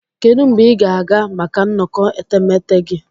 Kedu mgbe ị ga-aga maka nnọkọ etemeete gị?